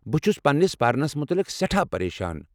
بہٕ چھس پننِس پرنَس متعلق سٮ۪ٹھاہ پریشان۔